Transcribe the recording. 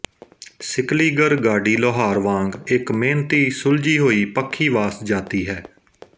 ਸਿਕਲੀਗਰ ਗਾਡੀ ਲੋਹਾਰ ਵਾਂਗ ਇੱਕ ਮੇਹਨਤੀ ਸੁਲਝੀ ਹੋਈ ਪੱਖੀਵਾਸ ਜਾਤੀ ਹੈ